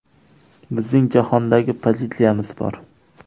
Bizning jahondagi pozitsiyamiz bor.